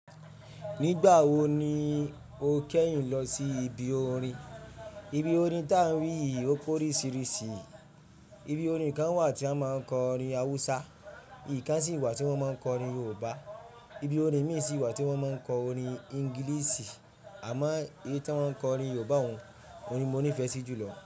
Nígbà wo ni o kẹ́yìn lọ sí ibi orin? Ibi orin ta wí yìí ó pórísìírísìí. Ibi orin kan wà tí wọ́n máa ń kọ orin Hausa, èyí kan sì wà tí wọ́n máa ń kọ orin Yorùbá. Ibi orin mí ì sì wà tí wọ́n máa ń kọ orin Ingilisi. Àmọ́ èyí tí wọ́n ń kọ orin Yorùbá òún ni mo nífẹ̀ẹ́ sí jù lọ.